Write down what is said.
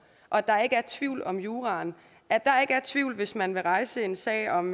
og at der ikke er tvivl om juraen at der ikke er tvivl hvis man vil rejse en sag om